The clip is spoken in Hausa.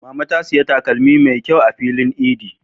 Mama ta saya takalmi mai ƙyau a filin idi.